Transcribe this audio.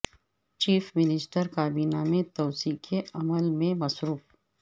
chief minister کابینہ میں توسیع کے عمل میں مصروف